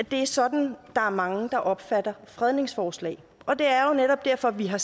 det er sådan mange opfatter fredningsforslag og det er jo netop derfor vi har